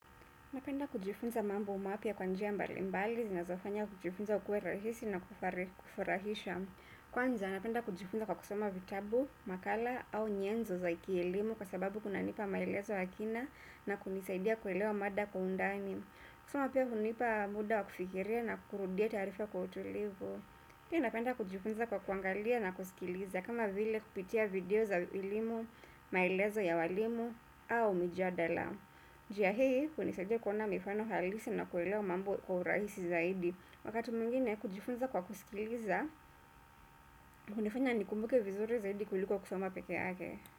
Napenda kujifunza mambo mapya kwa njia mbalimbali, zinazofanya kujifunza kuwe rahisi na kufurahisha. Kwanza, napenda kujifunza kwa kusoma vitabu, makala au nyenzo za ki elimu kwa sababu kunanipa maelezo ya kina na kunisaidia kuelewa mada kwa undani. Kusoma pia kunanipa muda wa kufikiria na kurudia tarifa kwa utulivu. Pia napenda kujifunza kwa kuangalia na kusikiliza kama vile kupitia video za elimu, maelezo ya walimu au mjadala. Njia hii hunisaidia kuona mifano halisi na kuelewa mambo kwa urahisi zaidi. Wakati mwingine kujifunza kwa kusikiliza hunifanya nikumbuke vizuri zaidi kuliko kusoma pekee yake.